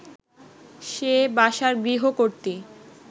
সে বাসার গৃহকর্ত্রী